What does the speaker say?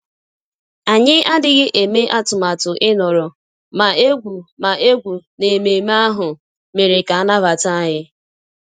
Anyị adịghị eme atụmatụ ịnọrọ, ma egwú ma egwú na ememe ahụ mere ka a nabata anyị